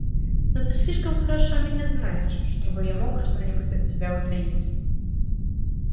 но ты слишком хорошо меня знаешь чтобы я мог что-нибудь от тебя утаить